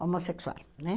Homossexual, né?